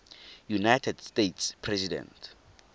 united states president